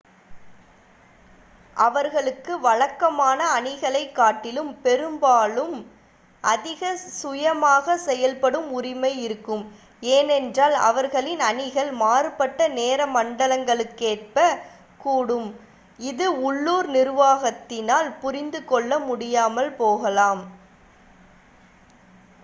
அவர்களுக்கு வழக்கமான அணிகளைக் காட்டிலும் பெரும்பாலும் அதிக சுயமாக செயல்படும் உரிமை இருக்கும் ஏனென்றால் அவர்களின் அணிகள் மாறுபட்ட நேர மண்டலங்களுக்கேற்ப கூடும் இது உள்ளூர் நிர்வாகத்தினால் புரிந்து கொள்ள முடியாமல் போகலாம்